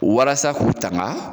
Warasa k'u tanga